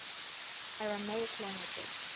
aramaic languages